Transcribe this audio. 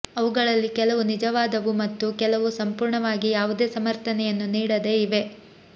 ಅವುಗಳಲ್ಲಿ ಕೆಲವು ನಿಜವಾದವು ಮತ್ತು ಕೆಲವು ಸಂಪೂರ್ಣವಾಗಿ ಯಾವುದೇ ಸಮರ್ಥನೆಯನ್ನು ನೀಡದೆ ಇವೆ